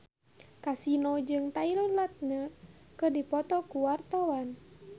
Kasino jeung Taylor Lautner keur dipoto ku wartawan